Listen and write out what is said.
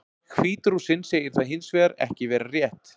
Hvít-Rússinn segir það hins vegar ekki vera rétt.